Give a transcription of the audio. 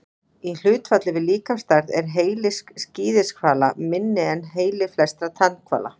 Í hlutfalli við líkamsstærð er heili skíðishvala minni en heili flestra tannhvala.